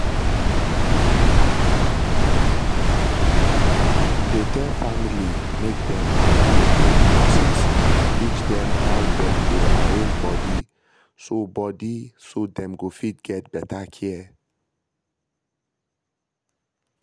dey tell family make dem allow make nurses teach them how dem dey arrange body so body so dem go fit get better care